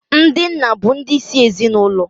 Ndị nna bụ ndị isi ezinaụlọ.